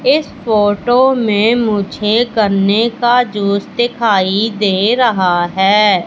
इस फोटो में मुझे गन्ने का जूस दिखाई दे रहा हैं।